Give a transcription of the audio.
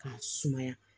K'a sumaya